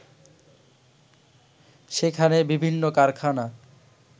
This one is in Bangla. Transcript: সেখানে বিভিন্ন কারখানা